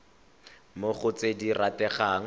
mo go tse di rategang